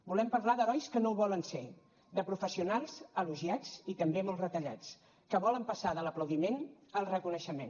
volem parlar d’herois que no ho volen ser de professionals elogiats i també molt retallats que volen passar de l’aplaudiment al reconeixement